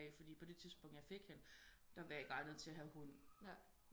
Fordi på det tidspungt jeg fik hende der var jeg ikke egnet til at få en hund